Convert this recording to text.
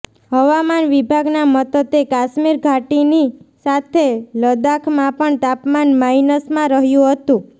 હવામાન વિભાગના મતતે કાશ્મીર ઘાટીની સાથે લદાખમાં પણ તાપમાન માઇનસમાં રહ્યુ હતું